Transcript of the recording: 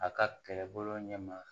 A ka kɛlɛbolo ɲɛ ma